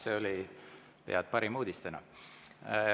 See oli pea parim uudis täna.